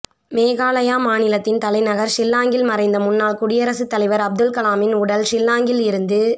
மேகாலயா மாநிலத்தின் தலைநகர் ஷில்லாங்கில் மறைந்த முன்னாள் குடியரசுத் தலைவர் அப்துல் கலாமின் உடல் ஷில்லாங்கில் இருந்து